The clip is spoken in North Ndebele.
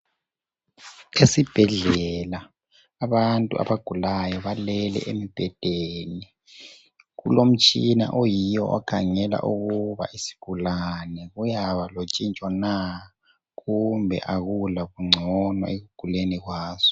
Esibhedlela abantu abagulayo balele embhedeni. Kulomtshina oyiyo okhangela ukuba isigulane kuyaba lotshintsho na kumbe akula bungcono ekuguleni kwaso.